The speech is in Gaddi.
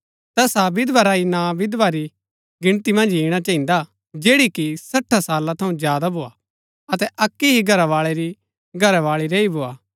तैसा विधवा रा ही नां विधवा री गिनती मन्ज इणा चहिन्दा जैड़ी कि सठा साला थऊँ ज्यादा भोआ अतै अक्की ही घरवाळै री घरावाळी रैई भोआ